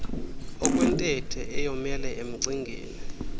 okwentethe eyomele emcingeni